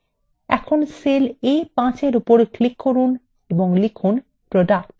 এখন cell a5এ click করুন এবং লিখুন product